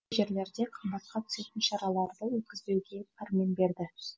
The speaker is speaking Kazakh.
жерлерде қымбатқа түсетін шараларды өткізбеуге пәрмен берді